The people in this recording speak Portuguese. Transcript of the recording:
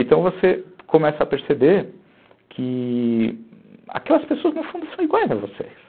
Então você começa a perceber que aquelas pessoas no fundo são iguais a vocês.